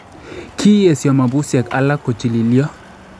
kiyeesyo mabusyeek alak kochililyo